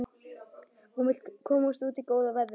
Hún vill komast út í góða veðrið.